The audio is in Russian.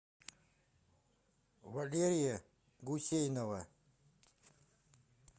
валерия гусейнова